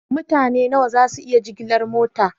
Mutane nawa ne za su iya jigilar mota?